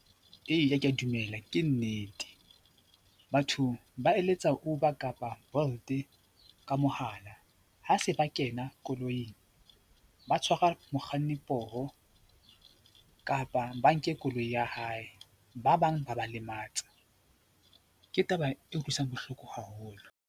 Eya, ke a dumela, ke nnete. Batho ba eletsa Uber kapa Bolt ka mohala ha se ba kena koloing ba tshwarwa mokganni poho kapa ba nke koloi ya hae, ba bang ba ba lematsa. Ke taba e utlwisang bohloko haholo.